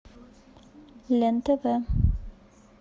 лен тв